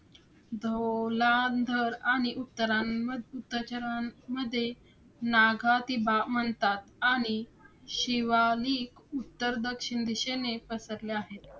ढोलांधर आणि उत्तरांमध्ये~ उत्तचारांमध्ये नागतीभा म्हणतात आणि शिवालिक उत्तर दक्षिण दिशेने पसरल्या आहेत.